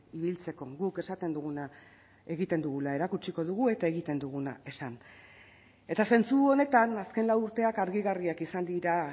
ibiltzeko guk esaten duguna egiten dugula erakutsiko dugu eta egiten duguna esan eta zentzu honetan azken lau urteak argigarriak izan dira